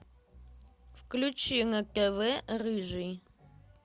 включи на тв рыжий